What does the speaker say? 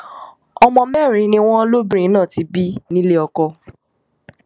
ọmọ mẹrin ni wọn lóbìnrin náà ti bí nílé ọkọ